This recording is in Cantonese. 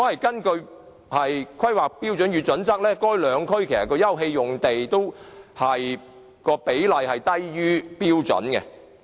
根據《規劃標準》，兩區的休憩用地的比例都低於標準。